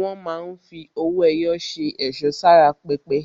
Wọ́n máa ń fi owó ẹyọ ṣe ẹ̀ṣọ́ sára pẹpẹ,